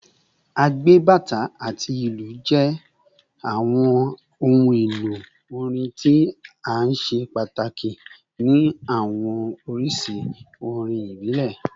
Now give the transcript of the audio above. Agbe, bata, ati ilu jẹ awọn ohun-elo orin ti o ṣe pataki ni awọn oriṣi orin ibile